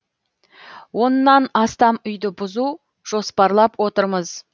оннан астам үйді бұзу жоспарлап отырмыз